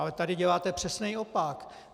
Ale tady děláte přesný opak.